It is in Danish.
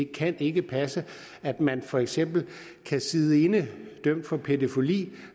kan ikke passe at man for eksempel kan sidde inde dømt for pædofili